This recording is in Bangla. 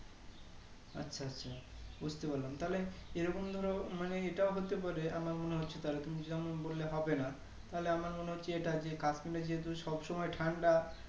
আচ্ছা আচ্ছা বুজতে পারলাম তাহলে এই রকম ধরো মানে এটাও হতে পারে আমার মনে হচ্ছে তাহলে তুমি যেমন বললে হবে না তাহলে আমার মনে হচ্ছে এটা যে Kasmir এ যেহেতু সব সময় ঠান্ডা